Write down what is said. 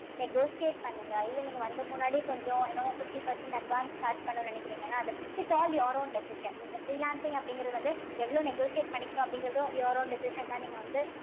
negotiate பண்ணுங்க இல்ல நீங்க வந்து முன்னாடி கொஞ்சம் you know fifty percent advance charge பண்ணணும்னு நினைக்கிறீங்கன்னா அத its all your own decision நீங்க freelancing அப்படிங்கறது வந்து எவ்வளவு negotiate பண்ணிக்கணும் அப்படிங்கறதும் your own decision தான் நீங்க வந்து